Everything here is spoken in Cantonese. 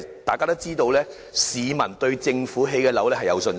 大家都知道，市民對政府興建的樓宇抱有信心。